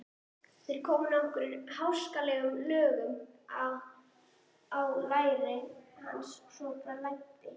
Þeir komu nokkrum háskalegum lögum á læri hans svo blæddi.